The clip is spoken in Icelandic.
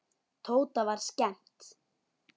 Tóta var skemmt.